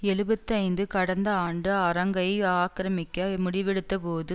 எழுபத்து ஐந்து கடந்த ஆண்டு அரங்கை ஆக்கிரமிக்க முடிவெடுத்தபோது